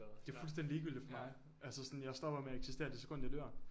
Det fuldstændig ligegyldigt for mig. Altså sådan jeg stopper med at eksistere det sekund jeg dør